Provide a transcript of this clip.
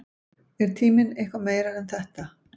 Er tíminn eitthvað meira en þetta?